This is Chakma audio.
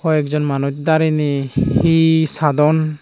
hoi ek jon manuch dareney he sadon.